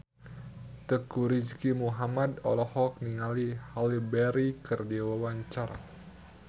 Teuku Rizky Muhammad olohok ningali Halle Berry keur diwawancara